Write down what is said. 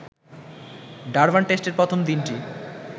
Durban টেস্টের প্রথম দিনটি